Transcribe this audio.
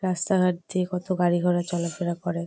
রাস্তা ঘাট দিয়ে কত গাড়িঘোড়া চলা -ফেরা করে।